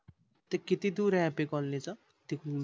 ते किती दूर आहे happy colony चं